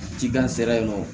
Cikan sera yen nɔ